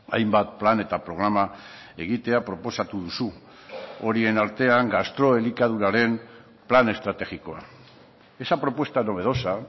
hainbat plan eta programa egitea proposatu duzu horien artean gastroelikaduraren plan estrategikoa esa propuesta novedosa